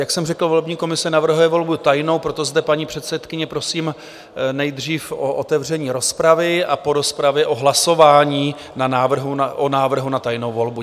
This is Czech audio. Jak jsem řekl, volební komise navrhuje volbu tajnou, proto zde paní předsedkyni prosím nejdřív o otevření rozpravy a po rozpravě o hlasování o návrhu na tajnou volbu.